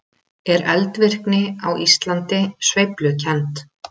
Er eldvirkni á Íslandi sveiflukennd?